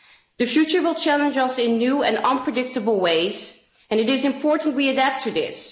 The future will challenge us in new and unpredictable ways and it is important we adapt to this.